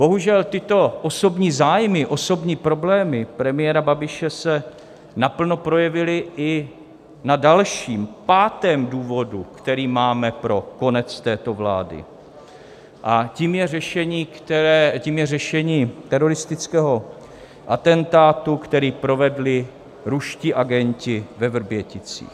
Bohužel tyto osobní zájmy, osobní problémy premiéra Babiše, se naplno projevily i na dalším, pátém důvodu, který máme pro konec této vlády, a tím je řešení teroristického atentátu, který provedli ruští agenti ve Vrběticích.